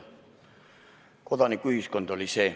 See oli kodanikuühiskond.